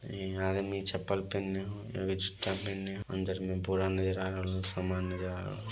इहाँ नीचे चप्पल पेन्ने हो एगो जूता पेन्ने हो अंदर में बोरा नजर आ रहलो समान नज़र आ रहल --